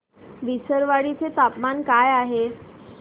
विसरवाडी चे तापमान काय आहे